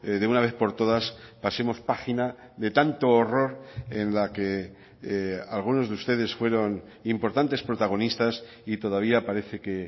de una vez por todas pasemos página de tanto horror en la que algunos de ustedes fueron importantes protagonistas y todavía parece que